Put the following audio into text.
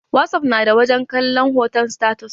Whatsapp na da wajen kalon hoton status.